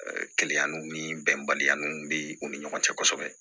Ɛɛ ni bɛnbaliya ninnu bɛ u ni ɲɔgɔn cɛ kosɛbɛ